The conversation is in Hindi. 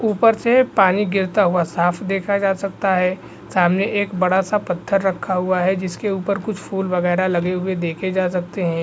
ऊपर से पानी गिरता हुआ साफ देखा जा सकता है। सामने एक बड़ा सा पत्थर रखा हुआ है जिसके ऊपर कुछ फूल वगैरा लगे हुए देखे जा सकते है